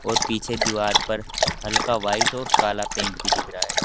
और पीछे दीवार पर हल्का व्हाइट और काला पेंट भी दिख रहा है।